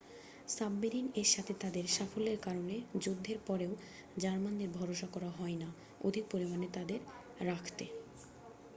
submarine এর সাথে তাদের সাফল্যের কারণে যুদ্ধের পরেও জার্মানদের ভরসা করা হয় না অধিক পরিমানে তাদের রাখতে